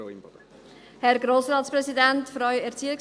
Sie haben das Wort, Frau Imboden.